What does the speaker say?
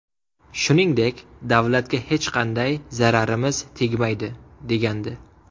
Shuningdek, davlatga hech qanday zararimiz tegmaydi”, degandi .